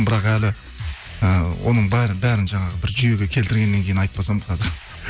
бірақ әлі і оның бәрін жаңағы бір жүйеге келтіргеннен кейін айтпасам қазір